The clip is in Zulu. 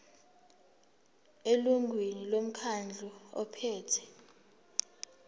elungwini lomkhandlu ophethe